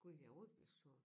Gud ja rutebilstationen